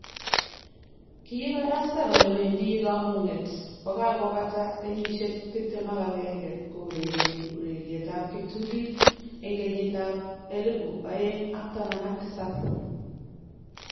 Kiibarasta kole wendi komung'et kogakobata kenyisiek 21 kourereni urerietab kiptulit en kenyitab 2017